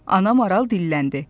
Ana maral dilləndi.